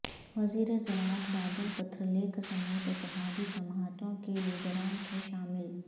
وزیر زراعت بادل پترلیکھ سمیت اتحادی جماعتوں کے لیڈران تھے شامل